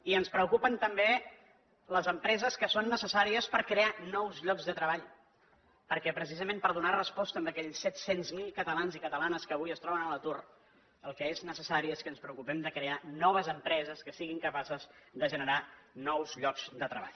i ens preocupen també les empreses que són necessàries per crear nous llocs de treball perquè precisament per donar resposta a aquells set cents miler catalans i catalanes que avui es troben a l’atur el que és necessari és que ens preocupem de crear noves empreses que siguin capaces de generar nous llocs de treball